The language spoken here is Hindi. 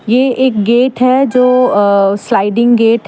यह एक गेट है जो स्लाइडिंग गेट हैं।